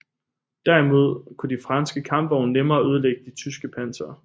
Derimod kunne de franske kampvogne nemmere ødelægge det tyske panser